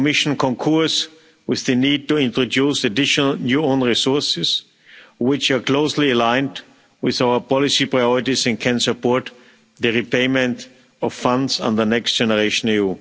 The Commission concurs with the need to introduce additional new own resources which are closely aligned with our policy priorities and can support the repayment of funds on the Next Generation EU.